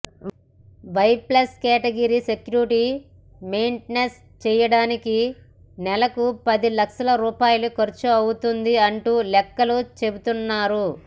why plus category security maintain చేయడానికి నెలకు పది లక్షల రూపాయలు ఖర్చు అవుతుంది అంటూ లెక్కలు చెబుతున్నారు